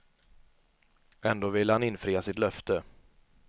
Ändå ville han infria sitt löfte.